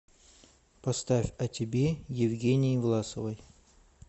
поставь о тебе евгении власовой